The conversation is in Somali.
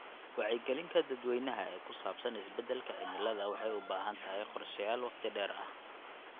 Wacyigelinta dadweynaha ee ku saabsan isbedelka cimilada waxay u baahan tahay qorshayaal waqti dheer ah.